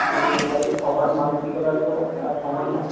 মানে এবারে সবার মানসিকতা তো আর সমান নয়